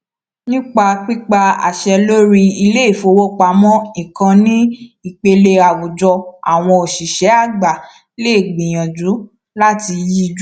nípa pípa àṣẹ lórí iléifowopamọ ìkànnì ní ipele àwùjọ àwọn òṣìṣẹ àgbà lè gbìyànjú láti yíjú